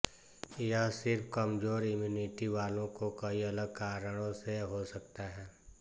यह सिर्फ कमजोर इम्यूनिटी वालों को कई अलग कारणों से हो सकता है